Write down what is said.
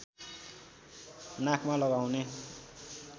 नाकमा लगाउने